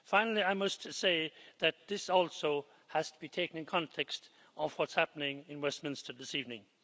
Finally, I must say that this also has to be taken in the context of what is happening in Westminster this evening.